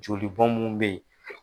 Joli bɔn mun be yen